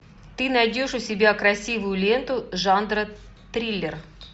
ты найдешь у себя красивую ленту жанра триллер